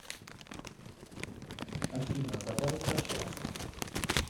афина давай прощаться